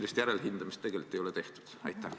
Või seda järelhindamist tegelikult ei ole tehtud?